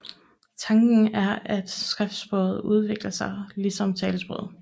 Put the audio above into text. Tanken er at skriftsproget udvikler sig ligesom talesproget